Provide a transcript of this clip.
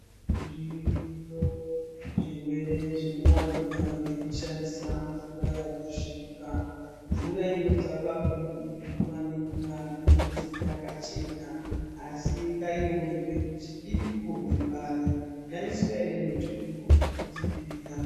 Zviriyo zvirwere zvinowanikwa ngekushandisa mvura yakasvipa, mvura inobva papombi nguva ngenguva inonzi yakachena asi ingaiwe nepekuti irikumbibva pari yaiswa ere mitombo yekudzivirira.